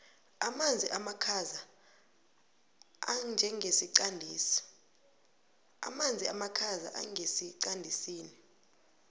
amanzi amakhaza angesiqandisini